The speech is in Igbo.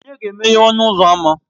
Ònye ga-emeghe ọnụ ụzọ ámá?